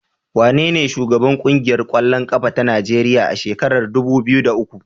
Wanene shugaban ƙungiyar ƙwallon ƙafa ta Najeriya a shekarar dubu biyu da uku?